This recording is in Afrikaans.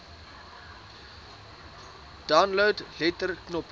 download letter knoppie